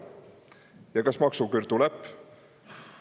Ja kas maksuküür tuleb?